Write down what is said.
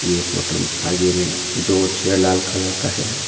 ये फोटो में आगे में दो चेयर लाल कलर का है।